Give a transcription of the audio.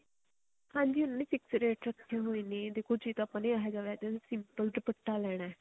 ਹਾਂਜੀ ਉਹਨਾ ਨੇ fix ਰੇਟ ਰੱਖੇ ਹੋਏ ਨੇ ਦੇਖੋ ਜੇ ਤਾਂ ਆਪਾਂ ਨੇ simple ਦੁਪੱਟਾ ਲੈਣਾ